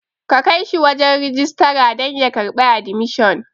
Kakaishi shi wajan rijistara dan ya karɓi admission